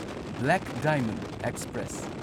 black diamond express